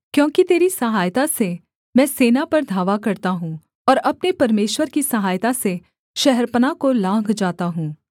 क्योंकि तेरी सहायता से मैं सेना पर धावा करता हूँ और अपने परमेश्वर की सहायता से शहरपनाह को लाँघ जाता हूँ